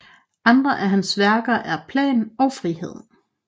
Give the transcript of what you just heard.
Andre af hans værker er Plan og frihed